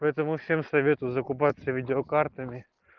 поэтому всем советую закупаться видеокартами